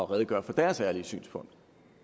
redegør for deres ærlige synspunkt